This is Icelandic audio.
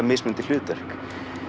mismunandi hlutverk